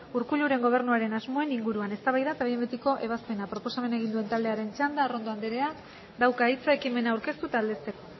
urkulluren gobernuaren asmoen inguruan eztabaida eta behin betiko ebazpena proposamena egin duen taldearen txanda arrondo andereak dauka hitza ekimena aurkeztu eta aldezteko